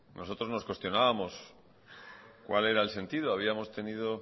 nosotros nos cuestionábamos cuál era el sentido habíamos tenido